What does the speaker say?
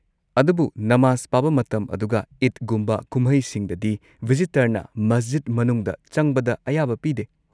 ꯑꯗꯨꯕꯨ ꯅꯃꯥꯖ ꯄꯥꯕ ꯃꯇꯝ ꯑꯗꯨꯒ ꯏꯗꯒꯨꯝꯕ ꯀꯨꯝꯍꯩꯁꯤꯡꯗꯗꯤ ꯚꯤꯖꯤꯇꯔꯅ ꯃꯁꯖꯤꯗ ꯃꯅꯨꯡꯗ ꯆꯪꯕꯗ ꯑꯌꯥꯕ ꯄꯤꯗꯦ꯫